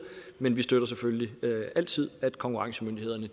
men vi støtter selvfølgelig altid at konkurrencemyndighederne